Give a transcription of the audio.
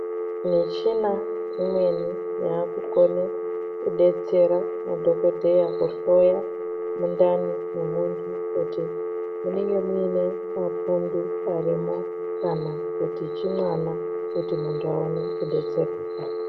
Michina imweni yakukone kudetsera madhokodheya kuhloya mundani mwemuntu kuti munenge mune mapundu arimwo kana kuti chimwana kuti muntu aone kudetsereka.